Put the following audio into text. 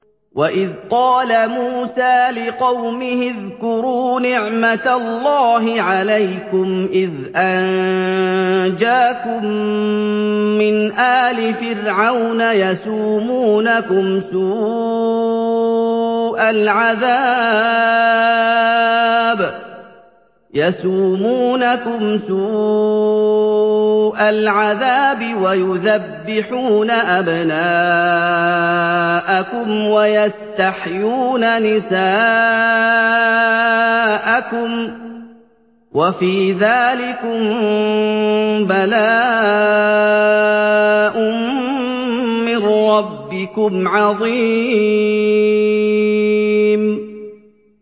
وَإِذْ قَالَ مُوسَىٰ لِقَوْمِهِ اذْكُرُوا نِعْمَةَ اللَّهِ عَلَيْكُمْ إِذْ أَنجَاكُم مِّنْ آلِ فِرْعَوْنَ يَسُومُونَكُمْ سُوءَ الْعَذَابِ وَيُذَبِّحُونَ أَبْنَاءَكُمْ وَيَسْتَحْيُونَ نِسَاءَكُمْ ۚ وَفِي ذَٰلِكُم بَلَاءٌ مِّن رَّبِّكُمْ عَظِيمٌ